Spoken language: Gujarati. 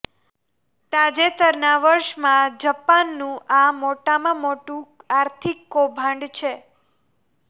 તાજેતરના વર્ષમાં જપાનનું આ મોટામાં મોટું આર્થિક કૌભાંડ છે